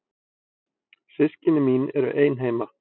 Systkini mín eru ein heima.